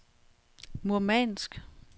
Murmansk